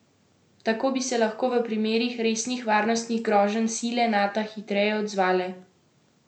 Tako bi se lahko v primerih resnih varnostnih groženj sile Nata hitreje odzvale.